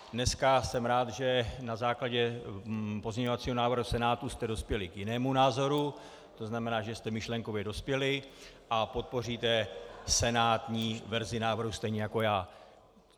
Dneska jsem rád, že na základě pozměňovacího návrhu Senátu jste dospěli k jinému názoru, to znamená, že jste myšlenkově dospěli a podpoříte senátní verzi návrhu stejně jako já.